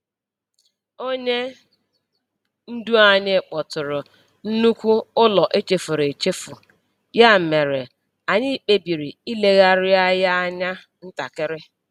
Onye ndu anyị kpọtụrụ nnukwu ụlọ echefuru echefu, ya mere anyị kpebiri ilegharịa ya anya ntakịrị.